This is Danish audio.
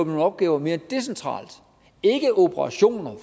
nogle opgaver mere decentralt ikke operationer